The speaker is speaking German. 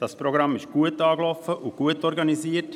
Das Programm ist gut angelaufen, und es ist gut organisiert.